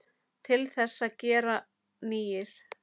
Til þess að gera nýir.